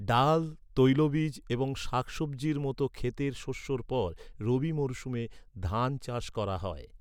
ডাল, তৈলবীজ এবং শাকসব্জির মত ক্ষেতের শস্যর পর রবি মরশুমে ধান চাষ করা হয়।